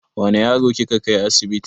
Wane yaro kika kai asibiti?